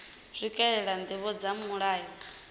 swikelela ndivho dza mulayo uyu